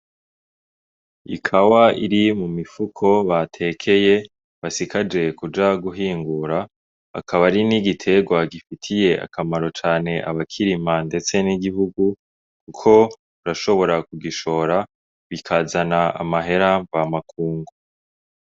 Ikawa iri mu mifuko batekeye basigaje kuja guhingura akaba ari n'igiterwa gifitiy'akamaro cane abakirima ,ndetse n'igihugu kuko urashobora kugishora bikazana amahera mvamakungu.